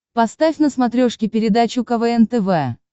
поставь на смотрешке передачу квн тв